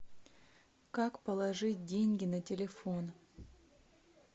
как положить деньги на телефон